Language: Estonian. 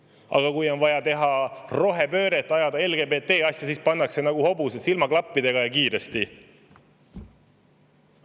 Aga kui on vaja teha rohepööret, ajada LGBT-asja, siis pannakse nagu hobused silmaklappidega edasi, ja kiiresti.